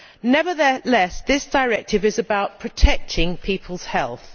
Nevertheless, this directive is about protecting people's health.